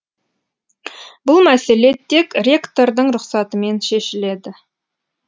бұл мәселе тек ректордың рұқсатымен шешіледі